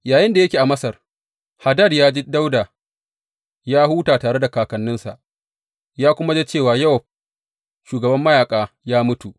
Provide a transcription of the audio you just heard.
Yayinda yake a Masar, Hadad ya ji Dawuda ya huta tare da kakanninsa, ya kuma ji cewa Yowab shugaban mayaƙa ya mutu.